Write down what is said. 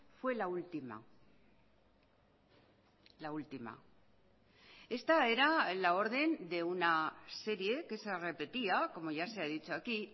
fue la última la última esta era la orden de una serie que se repetía como ya se ha dicho aquí